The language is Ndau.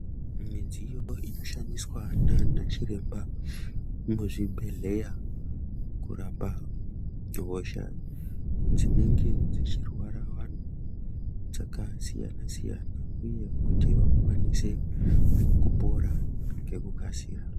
Midziyo inoshandiswa ndana Chiremba muzvibhehleya kurapa hosha dzinenge dzeirwara vantu dzakasiyana siyana uye kuti vakwanise pora ngekukasira.